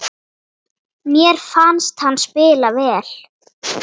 Mér fannst hann spila vel.